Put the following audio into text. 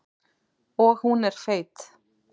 Og hún er feit.